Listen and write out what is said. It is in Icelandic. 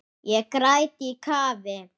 Ég græt í kafi.